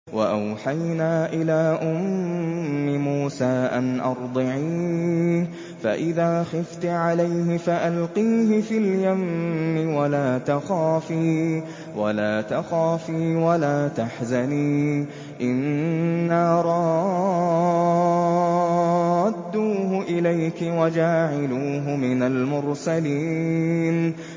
وَأَوْحَيْنَا إِلَىٰ أُمِّ مُوسَىٰ أَنْ أَرْضِعِيهِ ۖ فَإِذَا خِفْتِ عَلَيْهِ فَأَلْقِيهِ فِي الْيَمِّ وَلَا تَخَافِي وَلَا تَحْزَنِي ۖ إِنَّا رَادُّوهُ إِلَيْكِ وَجَاعِلُوهُ مِنَ الْمُرْسَلِينَ